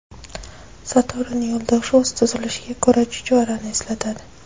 Saturn yo‘ldoshi o‘z tuzilishiga ko‘ra chuchvarani eslatadi.